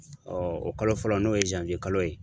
o kalo fɔlɔ n'o ye kalo ye.